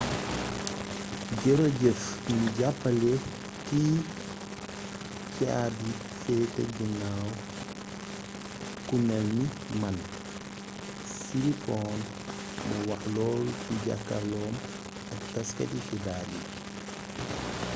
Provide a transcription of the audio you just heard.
"jërëjëf ñi jàppale ki caabi feete ginnawam ku melni man siriporn moo wax loolu ci jàkkarloom ak taskati xibaar yi